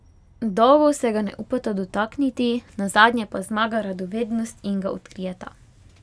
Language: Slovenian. Dolgo se ga ne upata dotakniti, nazadnje pa zmaga radovednost in ga odkrijeta.